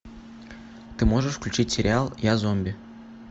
ты можешь включить сериал я зомби